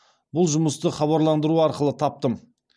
бұл жұмысты хабарландыру арқылы таптым